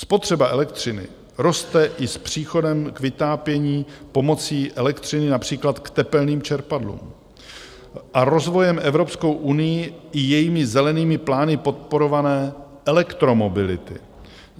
Spotřeba elektřiny roste i s příchodem k vytápění pomocí elektřiny, například k tepelným čerpadlům, a rozvojem Evropskou unií i jejími zelenými plány podporované elektromobility.